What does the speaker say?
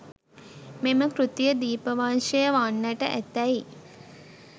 මෙම කෘතිය දීපවංශය වන්නට ඇතැයි